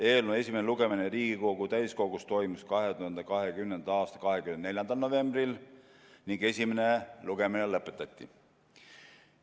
Eelnõu esimene lugemine Riigikogu täiskogus toimus 2020. aasta 24. novembril ning esimene lugemine lõpetati.